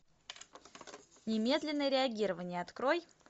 немедленное реагирование открой